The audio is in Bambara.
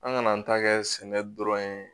An ŋana an ta kɛ sɛnɛ dɔrɔn ye